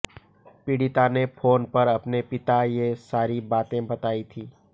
पीड़िता ने फोन पर अपने पिता ये सारी बातें बताई थी